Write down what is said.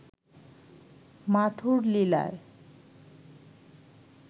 মাথুর লীলায়